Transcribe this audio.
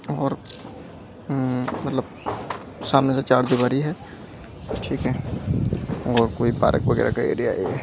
और हम्म मतलब सामने से चार दिवारी है ठीक है और कोई पार्क वगैरह का एरिया है।